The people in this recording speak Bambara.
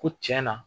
Ko tiɲɛ na